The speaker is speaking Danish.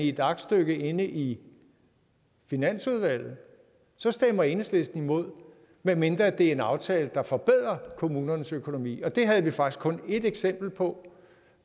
et aktstykke i finansudvalget så stemmer enhedslisten imod medmindre det er en aftale der forbedrer kommunernes økonomi og det havde vi faktisk kun ét eksempel på